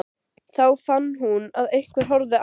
Þá fann hún að einhver horfði á hana.